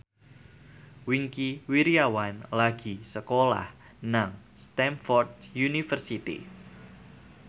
Wingky Wiryawan lagi sekolah nang Stamford University